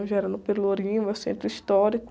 Então já era no Pelourinho, no centro histórico.